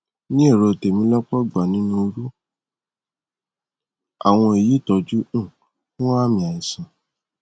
ní èrò tèmi lọpọ ìgbà nínú irú àwọn èyí ìtọjú um fún àmì àìsàn